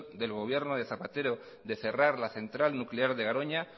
del gobierno de zapatero de cerrar la central nuclear de garoña